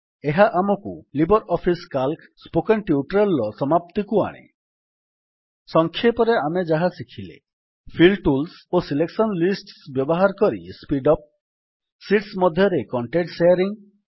ଏହା ଆମକୁ LibreOffice C A L C spoken tutorial ର ସମାପ୍ତିକୁ ଆଣେ ସଂକ୍ଷେପରେ ଆମେ ଯାହା ଶିଖିଲେ ଫିଲ୍ ଟୁଲ୍ସ ଓ ସିଲେକସନ ଲିଷ୍ଟସ୍ ବ୍ୟବହାର କରି ସ୍ପୀଡ୍ ଅପ୍ ଶୀଟ୍ସ ମଧ୍ୟରେ କଣ୍ଟେଣ୍ଟ୍ ଶେୟାରିଙ୍ଗ୍